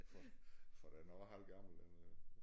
For for den er også halvgammel den er